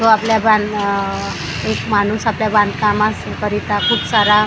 तो आपल्या बा एक माणूस आपल्या बांधकामा करिता खूप सारा--